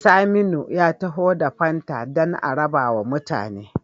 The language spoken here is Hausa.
Saminu ya taho da fanta dan a rabawa mutane